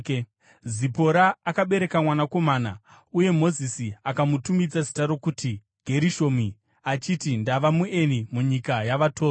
Zipora akabereka mwanakomana, uye Mozisi akamutumidza zita rokuti Gerishomi, achiti, “Ndava mueni munyika yavatorwa.”